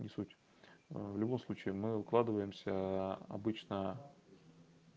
в любом случае мы укладываемся обычно